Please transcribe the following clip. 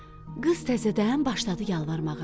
Qız təzədən başladı yalvarmağa.